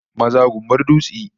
Maza gumbar dutse